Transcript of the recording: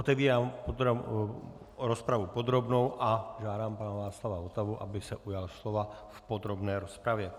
Otevírám rozpravu podrobnou a žádám pana Václava Votavu, aby se ujal slova v podrobné rozpravě.